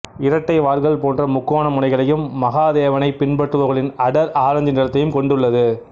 இரட்டை வால்கள் போன்ற முக்கோண முனைகளையும் மகாதேவனை பின்பற்றுபவர்களின் அடர் ஆரஞ்சு நிறத்தையும் கொண்டு உள்ளது